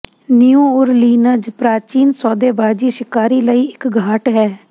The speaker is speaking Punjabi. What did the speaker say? ਨਿਊ ਓਰਲੀਨਜ਼ ਪ੍ਰਾਚੀਨ ਸੌਦੇਬਾਜ਼ੀ ਸ਼ਿਕਾਰੀ ਲਈ ਇੱਕ ਘਾਟ ਹੈ